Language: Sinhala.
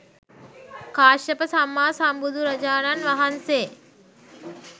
කාශ්‍යප සම්මා සම්බුදුරජාණන් වහන්සේ